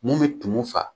Mun bɛ tumu fa